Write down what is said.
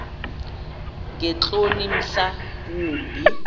ngeentloni mhla wumbi